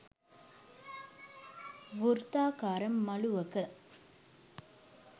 වෘත්තාකාර මළුවක